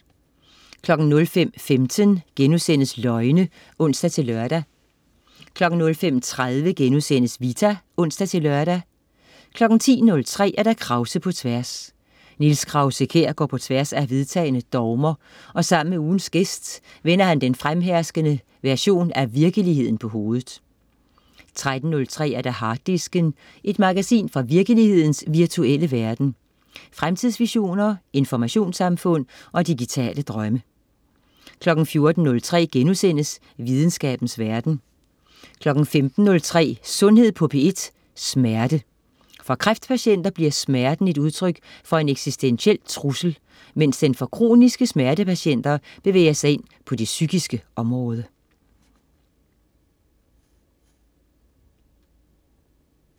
05.15 Løgne* (ons-lør) 05.30 Vita* (ons-lør) 10.03 Krause på tværs. Niels Krause-Kjær går på tværs af vedtagne dogmer og sammen med ugens gæst vender han den fremherskende version af virkeligheden på hovedet 13.03 Harddisken. Et magasin fra virkelighedens virtuelle verden. Fremtidsvisioner, informationssamfund og digitale drømme 14.03 Videnskabens verden* 15.03 Sundhed på P1. Smerte. For kræftpatienter bliver smerten et udtryk for en eksistentiel trussel, mens den for kroniske smertepatienter bevæger sig ind på det psykiske område